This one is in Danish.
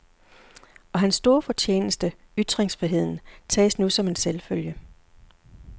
Og hans store fortjeneste, ytringsfriheden, tages nu som en selvfølge.